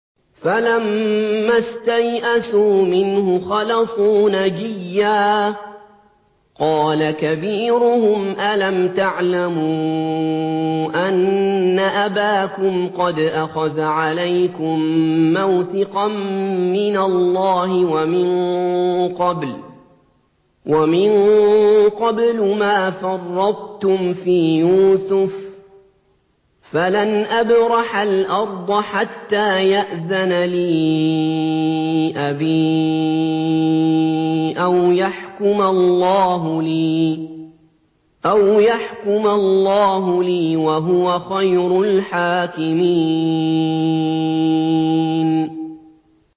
فَلَمَّا اسْتَيْأَسُوا مِنْهُ خَلَصُوا نَجِيًّا ۖ قَالَ كَبِيرُهُمْ أَلَمْ تَعْلَمُوا أَنَّ أَبَاكُمْ قَدْ أَخَذَ عَلَيْكُم مَّوْثِقًا مِّنَ اللَّهِ وَمِن قَبْلُ مَا فَرَّطتُمْ فِي يُوسُفَ ۖ فَلَنْ أَبْرَحَ الْأَرْضَ حَتَّىٰ يَأْذَنَ لِي أَبِي أَوْ يَحْكُمَ اللَّهُ لِي ۖ وَهُوَ خَيْرُ الْحَاكِمِينَ